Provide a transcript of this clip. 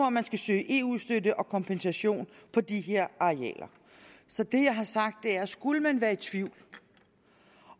om man skal søge eu støtte og kompensation for de her arealer så det jeg har sagt er at skulle man være i tvivl